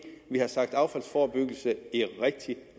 vi har talt om affaldsforebyggelse i rigtig